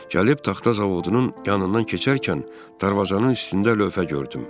Gəlib taxta zavodunun yanından keçərkən darvazanın üstündə lövhə gördüm.